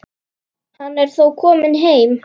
Hann er þó kominn heim.